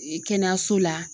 kɛnɛyaso la.